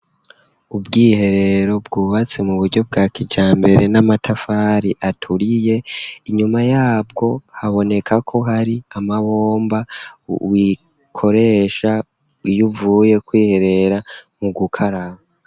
Ubwiherero bwubatse mu buryo bwa kijambere n'amatafari aturiye, inyuma yabwo haboneka ko hari amabomba wikoresha Iyuvuye kwiherera mu gukaraba.